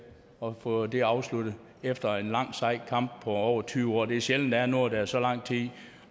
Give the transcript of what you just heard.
og at vi får det afsluttet efter en lang og sej kamp på over tyve år det er sjældent der er noget der er så lang tid